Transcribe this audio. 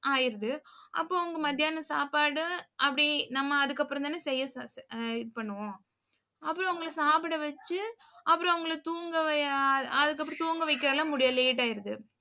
ஆயிருது அப்போ அவங்க மத்தியானம் சாப்பாடு, அப்படி நம்ம அதுக்கப்புறம்தானே செய்ய இது பண்ணுவோம். அப்புறம் அவங்களை சாப்பிட வச்சு அப்புறம் அவங்களை தூங்க அதுக்கப்புறம் தூங்க வைக்க எல்லாம் முடியாது late ஆயிடுது.